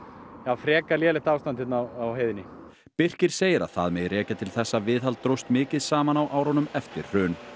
frekar lélegt ástand á heiðinni Birkir segir að það megi rekja til þess að viðhald dróst mikið saman á árunum eftir hrun